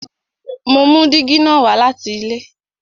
Mo mú dígí na wá láti ilé